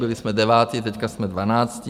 Byli jsme devátí, teď jsme dvanáctí.